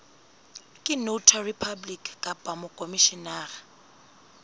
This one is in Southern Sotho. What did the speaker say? ke notary public kapa mokhomishenara